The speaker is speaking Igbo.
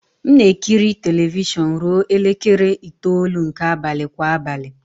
M na-ekiri telivishọn ruo elekere itoolu nke abalị kwa abalị.